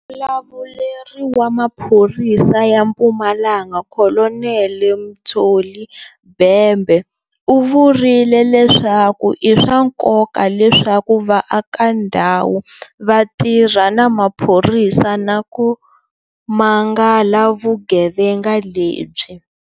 Muvulavuleri wa maphorisa ya Mpumalanga Kolonele Mtsholi Bhembe u vurile leswaku i swa nkoka leswaku vaakandhawu va tirha na maphorisa na ku mangala vuge venga lebyi.